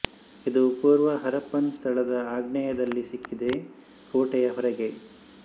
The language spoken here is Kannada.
ಇದು ಪೂರ್ವ ಹರಪ್ಪನ್ ಸ್ಥಳದ ಆಗ್ನೇಯದಲ್ಲಿ ಸಿಕ್ಕಿದೆ ಕೋಟೆಯ ಹೊರಗೆ